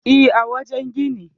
E, a wajen gini.